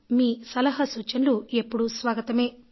మీ సలహా సూచనలు ఎప్పుడూ స్వాగతమే